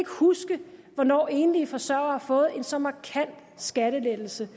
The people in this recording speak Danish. huske hvornår enlige forsørgere har fået en så markant skattelettelse